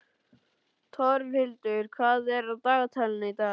Torfhildur, hvað er á dagatalinu í dag?